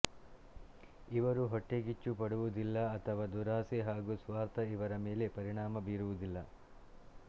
ಇವರು ಹೊಟ್ಟೆಕಿಚ್ಚು ಪಡುವುದಿಲ್ಲ ಅಥವಾ ದುರಾಸೆ ಹಾಗು ಸ್ವಾರ್ಥ ಇವರ ಮೇಲೆ ಪರಿಣಾಮ ಬೀರುವುದಿಲ್ಲ